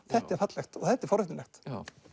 þetta er fallegt og þetta er forvitnilegt